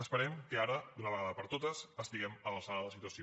esperem que ara d’una vegada per totes estiguem a l’alçada de la situació